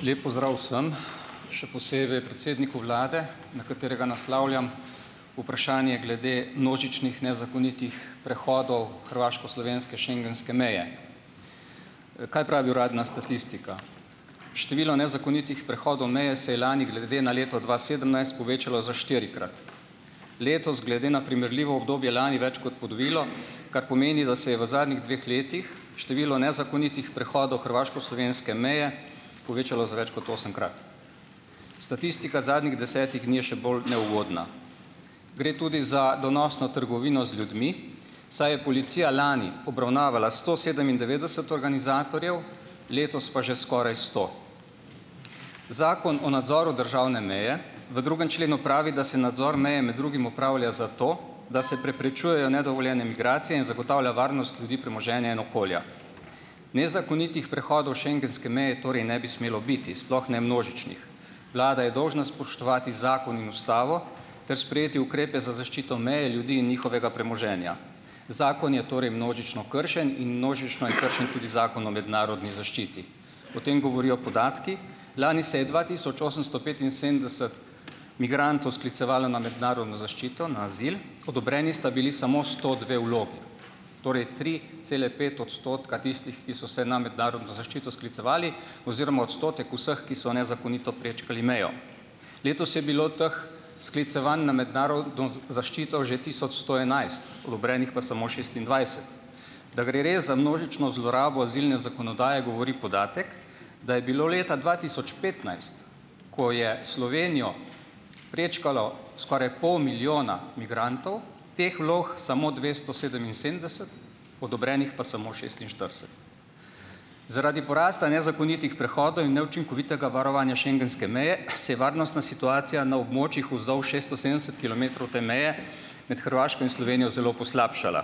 Lep pozdrav vsem, še posebej predsedniku vlade, na katerega naslavljam vprašanje glede množičnih nezakonitih prehodov hrvaško-slovenske schengenske meje. kaj pravi uradna statistika ? Število nezakonitih prehodov meje se je lani glede na leto dva sedemnajst povečalo za štirikrat. Letos, glede na primerljivo obdobje lani, več kot podvojilo , kar pomeni, da se je v zadnjih dveh letih število nezakonitih prehodov hrvaško-slovenske meje povečalo za več kot osemkrat . Statistika zadnjih desetih dni je še bolj neugodna . Gre tudi za donosno trgovino z ljudmi, saj je policija lani obravnavala sto sedemindevetdeset organizatorjev, letos pa že skoraj sto. Zakon o nadzoru državne meje v drugem členu pravi, da se nadzor meje med drugim opravlja zato, da se preprečujejo nedovoljene migracije in zagotavlja varnost ljudi, premoženja in okolja. Nezakonitih prehodov schengenske meje torej ne bi smelo biti, sploh ne množičnih. Vlada je dolžna spoštovati zakon in ustavo ter sprejeti ukrepe za zaščito meje, ljudi in njihovega premoženja. Zakon je torej množično kršen in množično je kršen tudi Zakon o mednarodni zaščiti. O tem govorijo podatki . Lani se je dva tisoč osemsto petinsedemdeset migrantov sklicevalo na mednarodno zaščito, na azil, odobreni sta bili samo sto dve vlogi . Torej tri cele pet odstotka tistih, ki so se na mednarodno zaščito sklicevali oziroma odstotek vseh, ki so nezakonito prečkali mejo. Letos je bilo teh sklicevanj na mednarodno zaščito že tisoč sto enajst. Odobrenih pa samo šestindvajset. Da gre res za množično zlorabo azilne zakonodaje, govori podatek, da je bilo leta dva tisoč petnajst, ko je Slovenijo prečkalo skoraj pol milijona migrantov, teh vlog samo dvesto sedeminsedemdeset, odobrenih pa samo šestinštirideset. Zaradi porasta nezakonitih prehodov in neučinkovitega varovanja schengenske meje, se je varnostna situacija na območjih vzdolž šesto sedemdeset kilometrov te meje med Hrvaško in Slovenijo zelo poslabšala.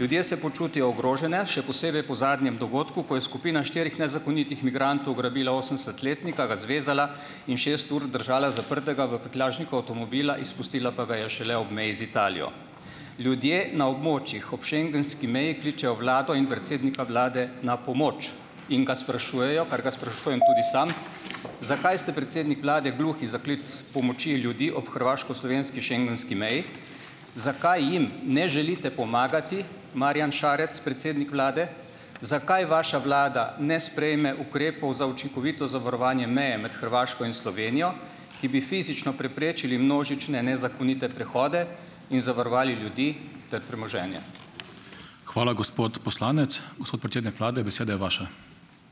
Ljudje se počutijo ogrožene, še posebej po zadnjem dogodku, ko je skupina štirih nezakonitih migrantov ugrabila osemdesetletnika, ga zvezala in šest ur držala zaprtega v prtljažniku avtomobila, izpustila pa ga je šele ob meji z Italijo. Ljudje na območjih ob schengenski meji kličejo vlado in predsednika vlade na pomoč. In ga sprašujejo, kar ga sprašujem tudi sam , zakaj ste, predsednik vlade, gluhi za klic pomoči ljudi op hrvaško-slovenski schengenski meji? Zakaj jim ne želite pomagati, Marjan Šarec, predsednik vlade. Zakaj vaša vlada ne sprejme ukrepov za učinkovito zavarovanje meje med Hrvaško in Slovenijo, ki bi fizično preprečili množične nezakonite prehode in zavarovali ljudi ter premoženje? Hvala, gospod poslanec. Gospod predsednik vlade, beseda je vaša.